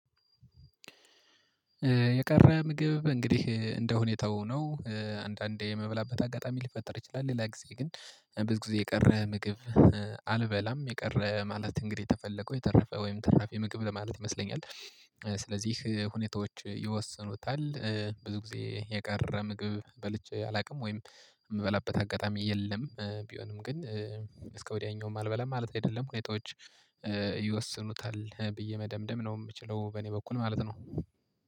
የቀረ ምግብ እንግዲህ እንደሁኔታው ነው። አንዳንዴ የመብላበት አጋጣሚ ሊፈጠር ይችላል ሌላ ጊዜ ግን ብዙ ጊዜ የቀረ ምግብ። አልበላም የቀረ ማለት እንግዲህ የተፈለገው የተረፈ ወይም ትራፊ ምግብ ለማለት ይመስለኛል ስለዚህ ሁኔታዎች ይወስኑታል። ብዙ ጊዜ የቀረ ምግብ በልቼ አላውቅም ወይም የምበላበት አጋጣሚ የለም ቢሆንም ግን። እስከ ወዲያኛውም አልበላም ማለት አይደለም ሁኔታዎች። ይወስኑታል ብዬ መደምደም ነው የምችለው በእኔ በኩል ማለት ነው